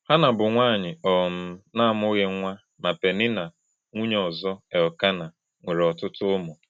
Hannạ bụ nwanyị um na-amụghị nwa, ma Peninnạ, nwunye ọzọ Elkanah, nwere ọtụtụ ụmụ.